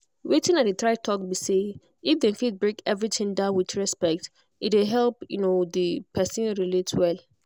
wetin i dey talk be say if dem fit break everything down with respect e dey help the person relate well.